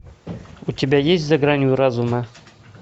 у тебя есть за гранью разума